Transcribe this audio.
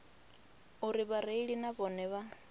uri vhareili na vhone vha